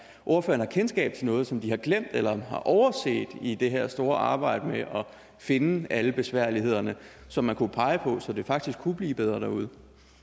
ordføreren har kendskab til noget som de har glemt eller overset i det her store arbejde med at finde alle besværlighederne som man kunne pege på så det faktisk kunne blive bedre derude